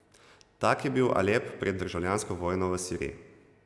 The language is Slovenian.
Tak je bil Alep pred državljansko vojno v Siriji.